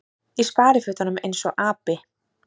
Í sparifötunum eins og api.